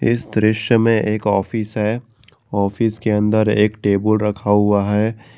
इस दृश्य में एक ऑफिस है ऑफिस के अंदर एक टेबुल रखा हुआ है।